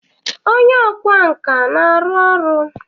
Onye ọkwá nkà na-arụ ọrụ?